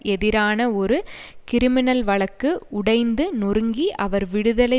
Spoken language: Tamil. எதிரான ஒரு கிரிமினல் வழக்கு உடைந்து நொறுங்கி அவர் விடுதலை